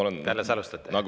Kas te alles alustate?